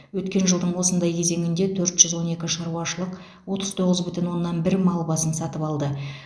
өткен жылдың осындай кезеңінде төрт жүз он екі шаруашылық отыз тоғыз бүтін оннан бір мал басын сатып алды